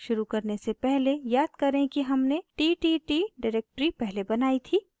शुरू करने से पहले याद करें कि हमने ttt डिरेक्टरी पहले बनायी थी